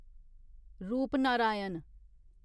Rupnarayan